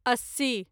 अस्सी